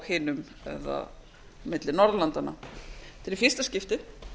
milli norðurlandanna þetta er í fyrsta skiptið